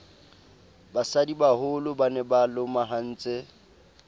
basadibaholo ba ne ba lomahantse